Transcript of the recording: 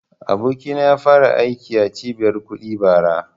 Abokina ya fara aiki a cibiyar kuɗi bara